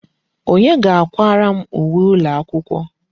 Onye ga-akwara m uwe ụlọakwụkwọ?